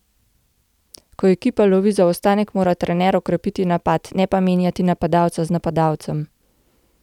Ko ekipa lovi zaostanek, mora trener okrepiti napad, ne pa menjati napadalca z napadalcem.